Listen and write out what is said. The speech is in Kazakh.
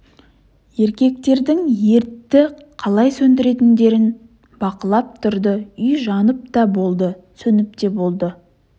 еркектердің ертті қалай сөндіретіндерін бақылап тұрды үй жанып та болды сөніп те болды